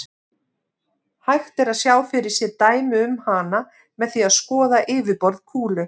Hægt er að sjá fyrir sér dæmi um hana með því að skoða yfirborð kúlu.